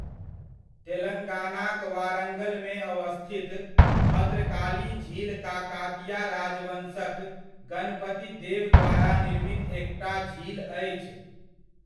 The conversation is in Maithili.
तेलंगानाक वारंगलमे अवस्थित भद्रकाली झील काकातीया राजवंशक गणपति देव द्वारा निर्मित एकटा झील अछि।